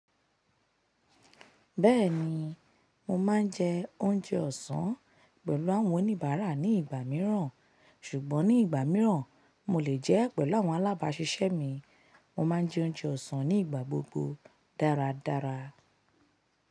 Bẹ́ẹ̀ni, mo máa ń jẹ oúnjẹ ọ̀sán pẹ̀lú àwọn oníbàárà ní ìgbà mìíràn, ṣùgbọ́n ní ìgbà mìíràn mo lè jẹ́ pẹ̀lú àwọn alábáṣiṣẹ́ mi. Mo máa ń jẹ oúnjẹ ọ̀sán ní ìgbà gbogbo dáradára.